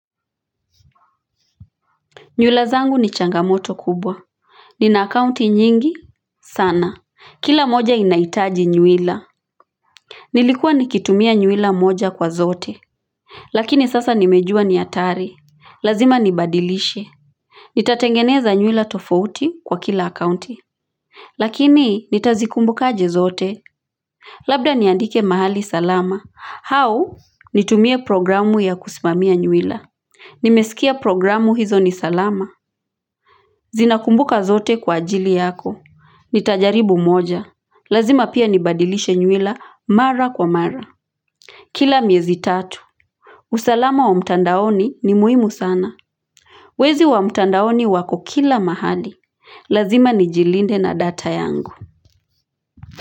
Nywila zangu ni changamoto kubwa Nina akaunti nyingi sana kila moja inahitaji nywila Nilikuwa nikitumia nywila moja kwa zote Lakini sasa nimejua ni hatari lazima nibadilishe Nitatengeneza nywila tofauti kwa kila akaunti Lakini nitazikumbuka aje zote Labda niandike mahali salama hau nitumie programu ya kusimamia nywila Nimesikia programu hizo ni salama zinakumbuka zote kwa ajili yako nitajaribu moja lazima pia nibadilishe nywila mara kwa mara kila miezi tatu usalama wa mtandaoni ni muhimu sana wezi wa mtandaoni wako kila mahali lazima nijilinde na data yangu.